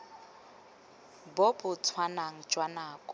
bo bo tshwanang jwa nako